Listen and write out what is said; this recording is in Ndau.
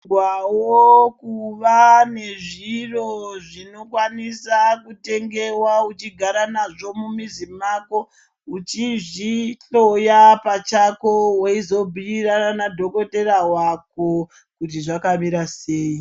Tinokurudzirwawo kuva nezviro zvinokwanisa kutengewa uchigara nazvo mumuzi mwako uchizvihloya pachako weizobhuirana nadhokodhetera wako kuti zvakamira sei.